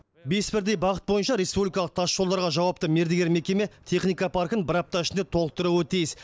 бес бірдей бағыт бойынша республикалық тасжолдарға жауапты мердігер мекеме техника паркін бір апта ішінде толықтыруы тиіс